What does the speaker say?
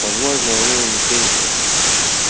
возможно у него лицензии